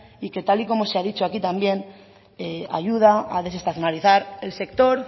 y que tal y como se ha dicho aquí también ayuda a desestacionalizar el sector